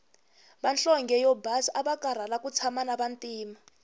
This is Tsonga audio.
vanhlonge yo basa avakarhala ku tshama na vantima